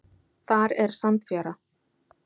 Þar er sandfjara.